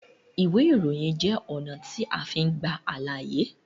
Iwe iroyin jẹ ọna ti a fin gba alaye